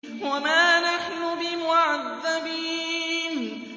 وَمَا نَحْنُ بِمُعَذَّبِينَ